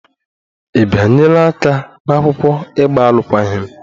Ị bịanyere aka n'akwụkwọ ịgba alụkwaghịm?